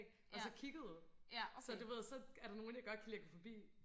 og så kigget og så du ved så er der nogle jeg godt kan lide og gå forbi